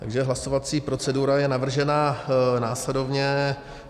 Takže hlasovací procedura je navržena následovně.